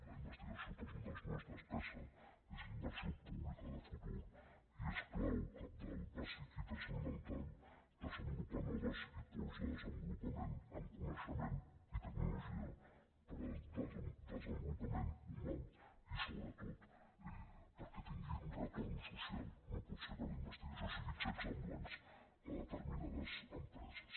la investigació per nosaltres no és despesa és inversió pública de futur i és clau cabdal bàsic i transcendental desenvolupar nodes i pols de desenvolupament en coneixement i tecnologia per al desenvolupament humà i sobretot perquè tingui retorn social no pot ser que la investigació siguin xecs en blanc a determinades empreses